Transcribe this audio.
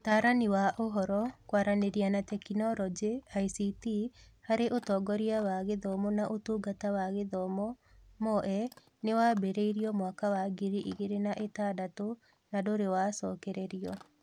Ũtaarani wa Ũhoro, Kwaranĩria na Teknoroji (ICT), harĩ ũtongoria wa gĩthomo na Ũtungata wa Gĩthomo (MoE) nĩ wambĩrĩirio mwaka wa ngiri igĩrĩ na ĩtandatũ na ndũrĩ wacokererio.